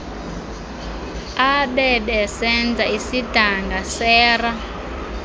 abebesenza isidanga sera